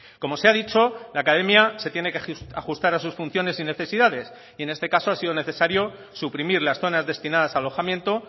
como se ha dicho la academia se tiene que ajustar a sus funciones y necesidades y en este caso ha sido necesario suprimir las zonas destinadas a alojamiento